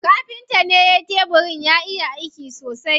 Kafintan ne yayi tebirin, ya iya aiki sosai.